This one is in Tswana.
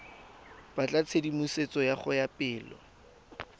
batla tshedimosetso go ya pele